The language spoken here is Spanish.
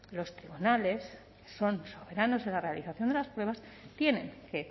los tribunales son soberanos en la realización de las pruebas tienen que